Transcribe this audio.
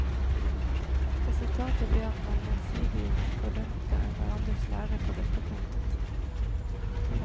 Resultatet ble at man gjensidig fordømte hverandres lære på dette punktet.